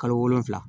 Kalo wolonwula